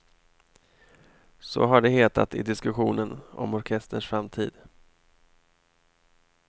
Så har det hetat i diskussionen om orkesterns framtid.